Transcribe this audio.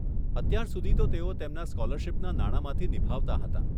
અત્યાર સુધી તો તેઓ તેમના સ્કોલરશિપના નાણામાંથી નિભાવતા હતાં.